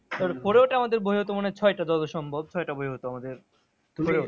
এবার four এ ওঠে আমাদের বই হতো মনে ছয়টা যত সম্ভব? ছয়টা বই হতো আমাদের।